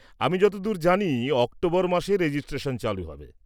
-আমি যতদূর জানি অক্টোবর মাসে রেজিস্ট্রেশন চালু হবে।